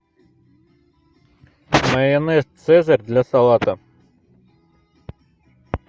майонез цезарь для салата